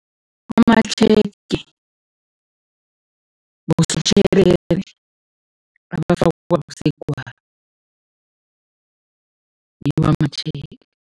Amatjhege bosotjherere basegwabo, ngiwo amatjhege.